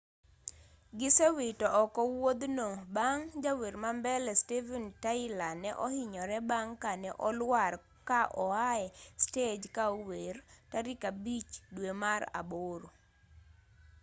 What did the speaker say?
gisewito oko wuothno bang' jawer ma mbele steven tyler ne ohinyore bang' kane oluar ka oae stej ka ower tarik abich due mar aboro